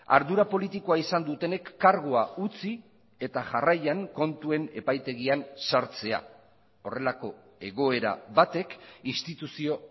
ardura politikoa izan dutenek kargua utzi eta jarraian kontuen epaitegian sartzea horrelako egoera batek instituzio